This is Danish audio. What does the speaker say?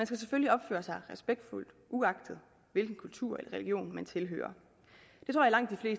skal selvfølgelig opføre sig respektfuldt uagtet hvilken kultur eller religion man tilhører